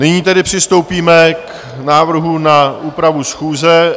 Nyní tedy přistoupíme k návrhům na úpravu schůze.